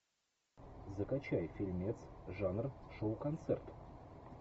закачай фильмец жанр шоу концерт